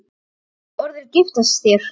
Vill hún orðið giftast þér?